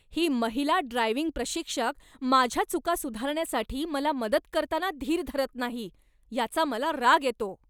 ही महिला ड्रायव्हिंग प्रशिक्षक माझ्या चुका सुधारण्यासाठी मला मदत करताना धीर धरत नाही, याचा मला राग येतो.